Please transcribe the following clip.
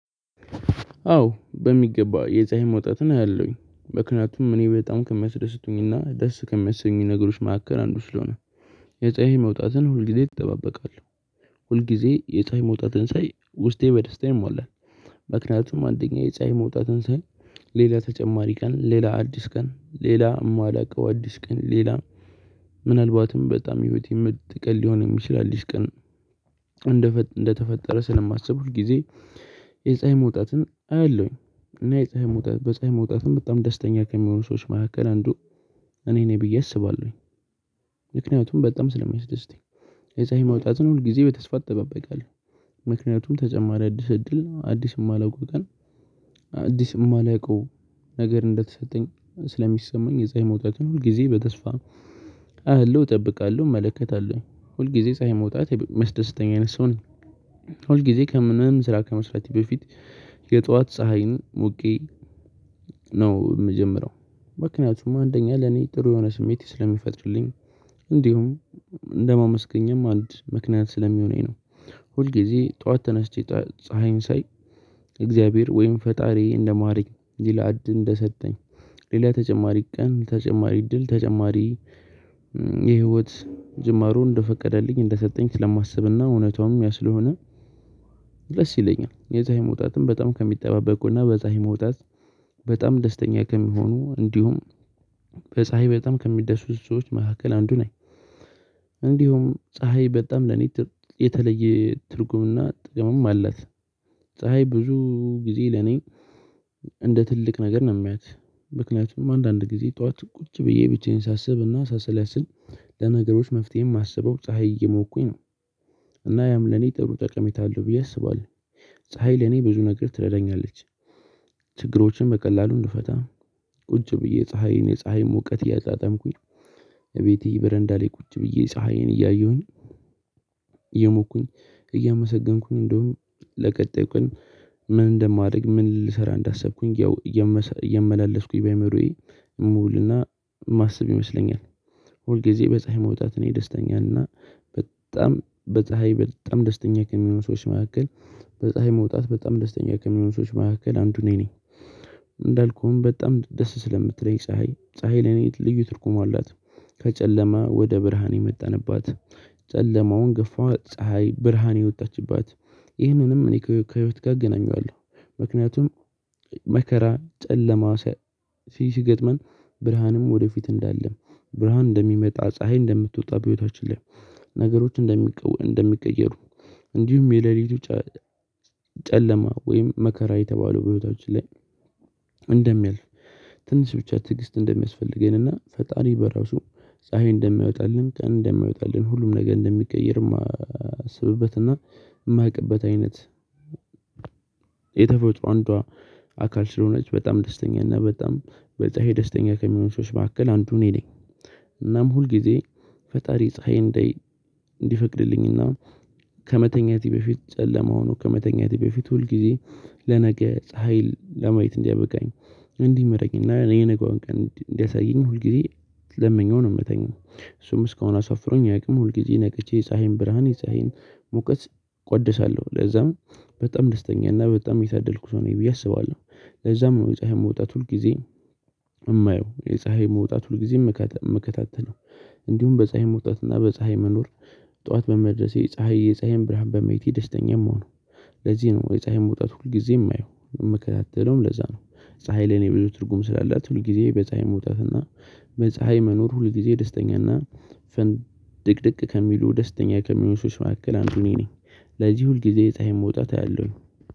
አዎ በሚገባ የፀሀይ መውጣትን አለውኝ ምክንያቱም እኔ በጣም ከመስደስቱኝና ደስ ከመሰሱኝ ነገሮች ማከር አንዱ ስለሆነ የፀሀይ መውጣትን ሁልጊዜ እጠባበቃለሁ። ሁልጊዜ የፀሀይ መውጣትን ሳይ ውስጤ በደስታ ይሟላል። ምክንያቱም አንደኛ የጻይ መውጣትን ሳይ ሌላ ተጨማሪ ቀን ሌላ አዲስ ቀን ሌላ የማላውቀው አዲስ ቀን ሌላ ምናልባትም በጣም ህይወት የምትቀል ሊሆን የችላል አድስ ቀን። እንደተፈጠረ ስለማስብ ሁልጊዜ የፀሀይ መውጣትን አለውኝ። እና የፀሀይ መውጣት በፀሀይ መውጣትም በጣም ደስተኛ ከሚሆኑ ሰዎች መካከል አንዱ እኔ ነኝ ብዬ አስባለሁኝ። ምክንያቱም በጣም ስለሚያስደስተኝ። የፀሀይ መውጣትን ሁል ጊዜ በተስፋ እጠባበቃለሁ ተጨማሪ አዲስ እድል አዲስ የማላውቀው ቀን። አዲስ የማላውቀው ነገር እንደተሰጠኝ ስለሚሰማኝ የፀሀይ መውጣትን ሁል ጊዜ በተስፋ አያለው እጠብቃለሁ እመለከታለሁኝ ሁል ጊዜ ፀሀይ መውጣት መስደሰተኛ አይነት ሰው ነኝ። ሁል ጊዜ ከምንም ስራ ከመስራቴ በፊት የጠዋት ፀሀይን ሙቄ ነው የምጀምረው። ምክንያቱም አንደኛ ለኔ ጥሩ የሆነ ስሜቴ ስለሚፈጥርልኝ። እንዲሁም እንደማመስገኝም አንድ ምክንያት ስለሚሆነኝ ነው። ሁል ጊዜ ጠዋት ተነስቼ ፀሀይን ሳይ እግዚአብሔር ወይም ፈጣሪዬ እንደማረኝ ሌላ እድል እንደሰጠኝ ሌላ ተጨማሪ ቀን ተጨማሪ እድል ተጨማሪ የህይወት ጅማሩን እንደፈቀደልኝ እንደሰጠኝ ስለማስብና እውነቷም ያ ስለሆነ። ደስ ይለኛል የፀሀይ መውጣትም በጣም ከሚጠባበቅ በፀሀይ መውጣት በጣም ደስተኛ ከሚሆኑ እንዲሁም በፀሀይ በጣም ከመደሰቱ ሰዎች መካከል አንዱ ነኝ። እንዲሁም ፀሀይ በጣም ለኔ የተለየ ትርጉምና ጥቅምም አላት። ፀሀይ ብዙ ጊዜ ለኔ እንደ ትልቅ ነገር ነው የሚያት። ምክንያቱም አንዳንድ ጊዜ ጠዋት ቁጭ ብዬ ብቻዬን ሳስብና ሳሰላስል ለነገሮች መፍትሄ የማስበው ፀሀይ እየሞኩኝ ነው። እና ያም ለኔ ጥሩ ጠቀሜታ አለው ብዬ አስባለሁ። ፀሀይ ለኔ ብዙ ነገር ትረዳኛለች። ችግሮችን በቀላሉ እንድፈታ ቁጭ ብዬ ፀሀይ እኔ ፀሀይ ሙቀት እያጣጣምኩኝ እቤቴ በረንዳ ላይ ቁጭ ብዬ ፀሀይን እያየሁኝ። እየሞኩኝ እያመሰገንኩኝ እንደውም ለቀጣይ ቀን ምን እንደማደርግ ምን ልሰራ እንዳሰብኩኝ ያው እየመላለስኩኝ በአዕምሮዬ ሙሉና ማሰብ ይመስለኛል። ሁል ጊዜ በፀሀይ መውጣት እኔ ደስተኛና በጣም በፀሀይ በጣም ደስተኛ ከሚሆኑ ሰዎች መካከል በፀሀይ መውጣት በጣም ደስተኛ ከሚሆኑ ሰዎች መካከል አንዱ እኔ እንዳልኩህም በጣም ደስ ስለምትለኝ ፀሀይ ፀሀይ ለኔ ልዩ ትርጉሙ አላት። ከጨለማ ወደ ብርሃን የመጣንባት ጨለማውን ገፋ ፀሀይ ብርሃን የወጣችባት ይህንንም እኔ ከህይወት ጋር ገናኘዋለሁ። ምክንያቱም መከራ ጨለማ ሲገጥመን ብርሃንም ወደፊት እንዳለም ብርሃን እንደሚመጣ ፀሀይ እንደምትወጣ በህይወታችን ላይ። ነገሮች እንደሚቀየሩ። እንዲሁም የሌሊቱ ጨለማ ወይም መከራ የተባለው በህይወታችን ላይ። እንደሚያልፍ ትንሽ ብቻ ትዕግስት እንደሚያስፈልገን እና ፈጣሪ በራሱ ፀሀይ እንደሚያወጣልን ቀን እንደሚያወጣልን ሁሉም ነገ እንደሚቀየርም አስብበትና። የማውቅበት አይነት የተፈወጡ አንዷ አካል ስለሆነች በጣም ደስተኛ እና በጣም በፀሃይ ደስተኛ ከሚሆን ሰዎች ባክል አንዱ እኔ ነኝ። እናም ሁልጊዜ ፈጣሪ ፀሀይ እንዲፈቅድልኝና ከመተኛቴ በፊት ጨለማ ሆኖ ከመተኛቴ በፊት ሁል ጊዜ ለነገ ፀሀይ ለማየት እንዲያበቃኝ። እንዲመረኝ እና የነገዋን ቀን እንዲያሳየኝ ሁል ጊዜ ለመኘው ነው የምተኛው። እሱም እስካሁን አሳፍሮኝ ያውቅም ሁልጊዜ ነቅቼ የፀሀይን ብርሃን የፀሀይን ሙቀት ቆድሳለሁ። ለዛም በጣም ደስተኛ እና በጣም የተደልኩ ሰው ነኝ ብዬ አስባለሁ። ለዛም ነው የፀሀይ መውጣት ሁል ጊዜ። የፀሀይ መውጣት ሁልጊዜም ሚከታተልው እንዲሁም በፀሀይ መውጣት እና በፀሀይ መኖር። ጠዋት በመድረሴ ፀሀይ የፀሀይን ብርሃን በመየቴ ደስተኛ የምሆነው። ለዚህ ነው የፀሀይን መውጣት ሁልጊዜም የማየው የምከታተለውም ለዛ ነው። ፀሀይ ለኔ ብዙ ትርጉም ስላላት ሁል ጊዜ በፀሀይ መውጣት እና በፀሀይ መኖር ሁል ጊዜ ደስተኛና ድቅድቅ ከሚሉ ደስተኛ ከሚሆን ሰዎች መካከል አንዱ እኔ ነኝ። ለዚህ ሁልጊዜ የፀሀይ መውጣት አለው።